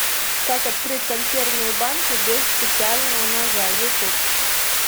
как открыть консервную банку без специального ножа ютуб